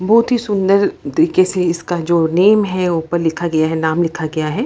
बहुत ही सुंदर देखे से इसका जो नेम है उपर लिखा गया है नाम लिखा गया है।